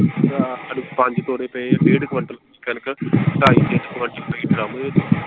ਪੰਜ ਤੋੜੇ ਪਏ ਡੇਢ ਕਵਿੰਟਲ ਕਣਕ ਢਾਈ ਤਿੰਨ ਕਵਿੰਟਲ ਪਈ drum .